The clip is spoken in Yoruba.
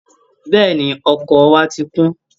Bẹ́ẹ̀ni, ọkọ̀ wa ti kún